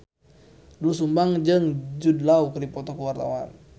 Doel Sumbang jeung Jude Law keur dipoto ku wartawan